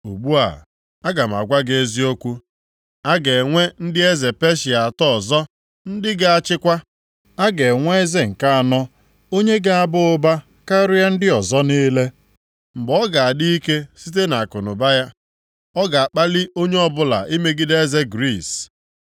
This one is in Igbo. “Ugbu a, aga m agwa gị eziokwu. A ga-enwe ndị eze Peshịa atọ ọzọ ndị ga-achịkwa. A ga-enwe eze nke anọ onye ga-aba ụba karịa ndị ọzọ niile. Mgbe ọ ga-adị ike site akụnụba ya, ọ ga-akpalị onye ọbụla imegide eze Griis.